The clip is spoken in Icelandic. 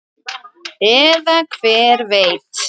Eða hver veit?